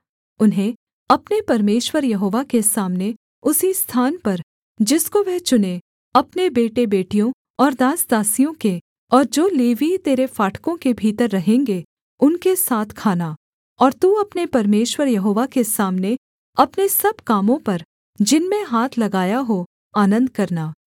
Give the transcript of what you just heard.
उन्हें अपने परमेश्वर यहोवा के सामने उसी स्थान पर जिसको वह चुने अपने बेटेबेटियों और दास दासियों के और जो लेवीय तेरे फाटकों के भीतर रहेंगे उनके साथ खाना और तू अपने परमेश्वर यहोवा के सामने अपने सब कामों पर जिनमें हाथ लगाया हो आनन्द करना